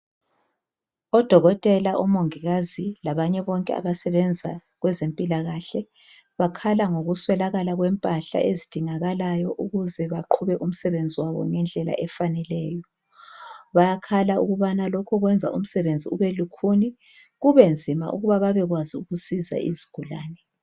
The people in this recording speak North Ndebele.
Odokotela, omongikazi labanye abantu abasebenza kwezempilakahle, bakhala ngokuswelakala kwempahla ezidiñgakalayo ukuze baqhube umsebenzi wabo ngendlela efaneleyo. Bayakhala ukuthi lokho kwenza umsebenzi ube lukhuni, kube nzima ukuba babekwazi ukuzisa izigulane.